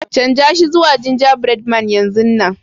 Chanza shi zuwa ginjabread man yanzun nan.